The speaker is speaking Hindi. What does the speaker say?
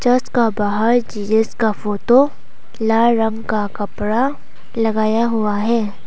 चर्च का बाहर जीजस का फोटो लाल रंग का कपड़ा लगाया हुआ है।